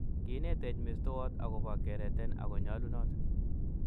Kinetech mestowot akobo kereten ako nyalunot